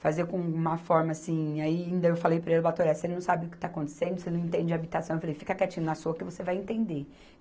Fazer com uma forma assim, ainda eu falei para ele, ô Batoré, você não sabe o que está acontecendo, você não entende de habitação, eu falei, fica quietinho na sua que você vai entender.